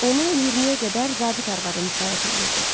Onu 20-yə qədər zabit arvadı müşayiət eləyirdi.